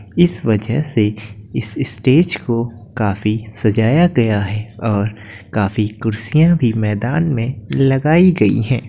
इस वजह से इस स्टेज को काफी सजाया गया है और काफी कुर्सियां भी मैदान में लगाई गई हैं।